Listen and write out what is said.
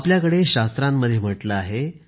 आपल्याकडे शास्त्रांमध्ये म्हटले आहे